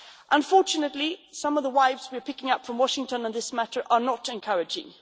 Unfortunately, some of the vibes we are picking up from Washington on this matter are not encouraging.